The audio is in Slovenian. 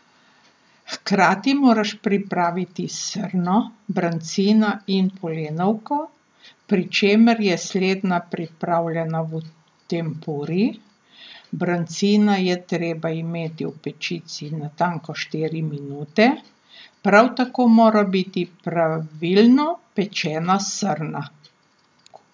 Hkrati moraš pripraviti srno, brancina in polenovko, pri čemer je slednja pripravljena v tempuri, brancina je treba imeti v pečici natanko štiri minute, prav tako mora biti pravilno pečena srna.